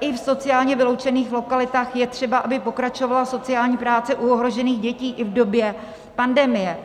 i v sociálně vyloučených lokalitách je třeba, aby pokračovala sociální práce u ohrožených dětí i v době pandemie.